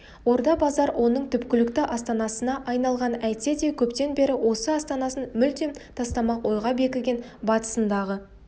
орда-базар оның түпкілікті астанасына айналған әйтсе де көптен бері осы астанасын мүлдем тастамақ ойға бекіген батысындағы